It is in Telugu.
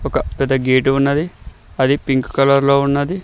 ఒక పెద్ద గేటు ఉన్నది అది పింక్ కలర్లో ఉన్నది.